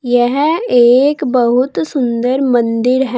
यह एक बहुत सुंदर मंदिर है।